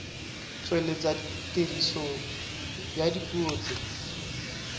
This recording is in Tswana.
tsweletsa tiriso ya dipuo tse